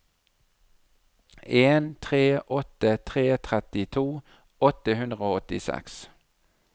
en tre åtte tre trettito åtte hundre og åttiseks